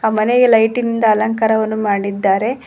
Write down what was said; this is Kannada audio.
ಆ ಮನೆಯ ಲೈಟಿಂದ ಅಲಂಕಾರವನು ಮಾಡಿದ್ದಾರೆ.